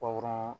Bawro